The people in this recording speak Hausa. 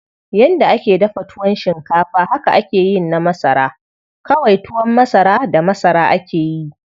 Yanda ake dafa tuwon shinkafa haka akeyin na masara, kawai tuwon masara da masara akeyi.